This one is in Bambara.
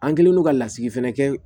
An kɛlen don ka lasigi fɛnɛ kɛ